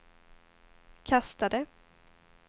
kastade